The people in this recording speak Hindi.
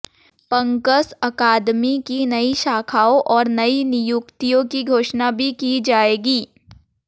पंकस अकादमी की नई शाखाओं और नई नियुक्तियों की घोषणा भी की जाएगी